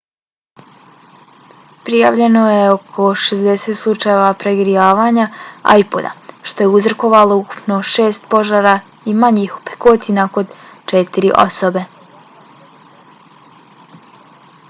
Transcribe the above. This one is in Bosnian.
prijavljeno je oko 60 slučajeva pregrijavanja ipoda što je uzrokovalo ukupno šest požara i manjih opekotina kod četiri osobe